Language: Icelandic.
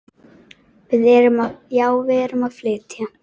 Já, við erum að flytja.